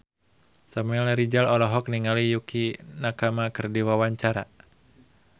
Samuel Rizal olohok ningali Yukie Nakama keur diwawancara